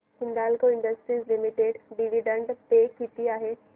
Hindalco Industries Limited dividend pay किती आहे